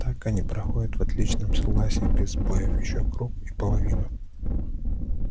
так они проходят в отличном согласии без сбоёв ещё круг и половину